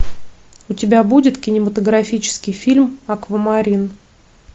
у тебя будет кинематографический фильм аквамарин